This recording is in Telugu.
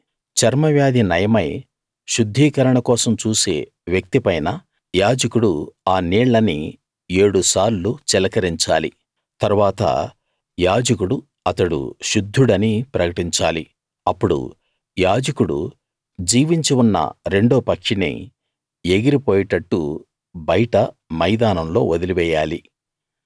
చర్మవ్యాధి నయమై శుద్ధీకరణ కోసం చూసే వ్యక్తి పైన యాజకుడు ఆ నీళ్ళని ఏడు సార్లు చిలకరించాలి తరువాత యాజకుడు అతడు శుద్ధుడని ప్రకటించాలి అప్పుడు యాజకుడు జీవించి ఉన్న రెండో పక్షిని ఎగిరి పోయేట్టు బయట మైదానంలో వదిలి వేయాలి